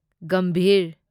Gambhir